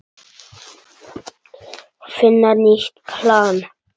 Finna nýtt plan.